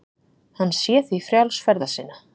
Hann sé því frjáls ferða sinna